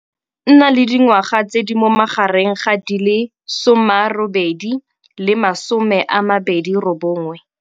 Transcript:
Nna le dingwaga tse di mo magareng ga di le 80 le di le 29.